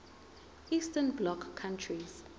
eastern bloc countries